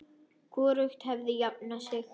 Hvorugt hefur jafnað sig.